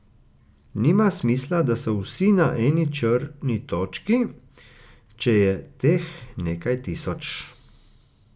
Nima smisla, da so vsi na eni črni točki, če je teh nekaj tisoč.